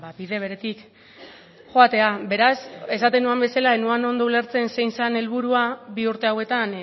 bide beretik joatea beraz esaten nuen bezala ez nuen ondo ulertzen zein zen helburua bi urte hauetan